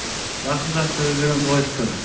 жақсы жақсы өздеріңіз қалайсыздар